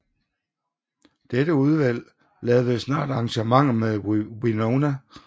Dette udvalg lavede snart arrangementer med Winona og St